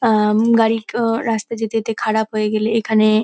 আহম গাড়ির কো-ও রাস্তায় যেতে যেতে খারাপ হয়ে গেলে এখানে--